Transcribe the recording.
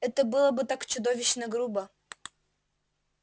это было бы так чудовищно грубо